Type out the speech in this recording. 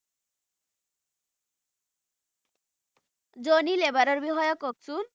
জনি লেবাৰৰ বিষয়ে কওকচোন